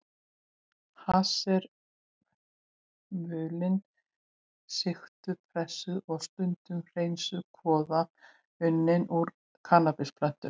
Hass er mulin, sigtuð, pressuð og stundum hreinsuð kvoða unnin úr kannabisplöntum.